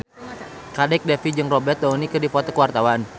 Kadek Devi jeung Robert Downey keur dipoto ku wartawan